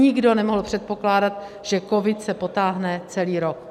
Nikdo nemohl předpokládat, že covid se potáhne celý rok.